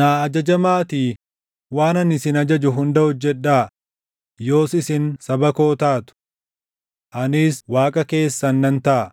‘Naa ajajamaatii waan ani isin ajaju hunda hojjedhaa; yoos isin saba koo taatu. Anis Waaqa keessan nan taʼa.